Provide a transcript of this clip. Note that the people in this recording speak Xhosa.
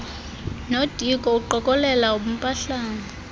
nodiko uqokelela ubumpahlana